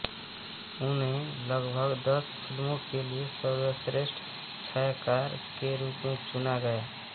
उन्हें लगभग दस फिल्मों के लिए सर्वश्रेष्ठ छायाकार के रूप में चुना गया